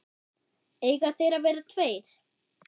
Eiga þeir að vera tveir?